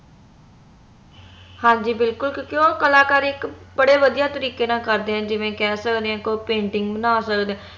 ਹਾਂਜੀ ਬਿਲਕੁਲ ਕਿਉਂਕਿ ਓਹ ਕਲਾਕਾਰ ਇਕ ਬੜੇ ਵਦੀਆਂ ਤਰੀਕੇ ਨਾਲ ਕਰਦੇ ਆ ਜਿਵੇ ਕਹਿ ਸਕਦੇ ਆ ਕੋਈ painting ਬਣਾ ਸਕਦੇ